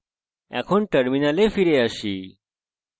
terminal ফিরে আসি